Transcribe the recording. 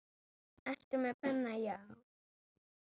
Ertu með penna, já.